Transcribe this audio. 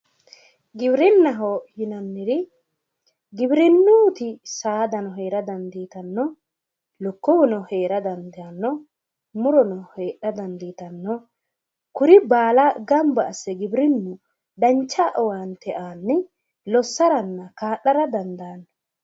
Giwirinnaho yinanniri giwirinnuyti saadano heera dandiitanno lukkuwuno heera dandaanno murono heedhara dandiitanno kuri baala gamba assine giwirinnu dancha owaante aanni lossaranna kaa'lara dandaanno